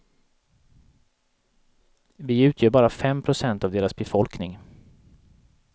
Vi utgör bara fem procent av deras befolkning.